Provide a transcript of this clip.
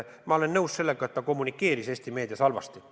Ma olen nõus sellega, et ta kommunikeeris Eesti meedias halvasti.